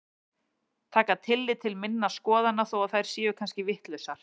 Taka tillit til minna skoðana þó að þær séu kannski vitlausar.